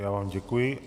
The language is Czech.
Já vám děkuji.